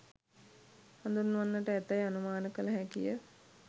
හඳුන්වන්නට ඇතැයි අනුමාන කළ හැකිය.